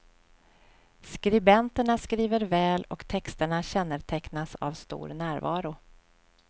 Skribenterna skriver väl och texterna kännetecknas av stor närvaro.